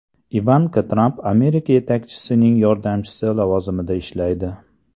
Ivanka Tramp Amerika yetakchisining yordamchisi lavozimida ishlaydi.